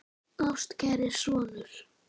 Ástkæri sonur